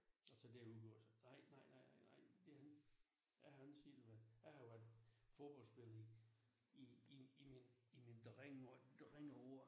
Og så det udgår så nej nej nej nej det har ingen jeg har ingen selv været jeg har jo været fodboldspiller i i i min i min drengeår drengeår